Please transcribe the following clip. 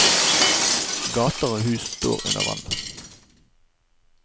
Gater og hus står under vann.